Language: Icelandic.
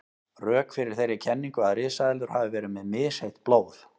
Rök fyrir þeirri kenningu að risaeðlur hafi verið með misheitt blóð.